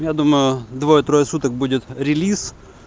я думаю двое-трое суток будет релиз